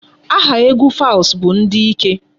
Aha egwu Falz bụ ndị ike.